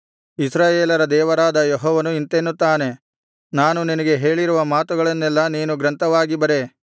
ಇಸ್ರಾಯೇಲರ ದೇವರಾದ ಯೆಹೋವನು ಇಂತೆನ್ನುತ್ತಾನೆ ನಾನು ನಿನಗೆ ಹೇಳಿರುವ ಮಾತುಗಳನ್ನೆಲ್ಲಾ ನೀನು ಗ್ರಂಥವಾಗಿ ಬರೆ